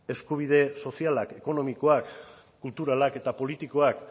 eskubide sozialak ekonomikoak kulturalak eta politikoak